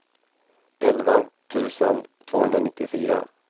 elva tusen tvåhundranittiofyra